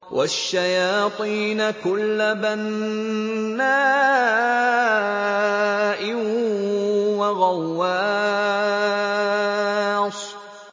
وَالشَّيَاطِينَ كُلَّ بَنَّاءٍ وَغَوَّاصٍ